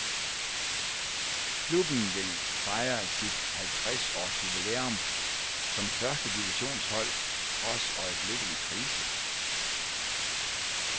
Klubben vil fejre sit halvtreds års jubilæum som førstedivisionshold trods øjeblikkelig krise.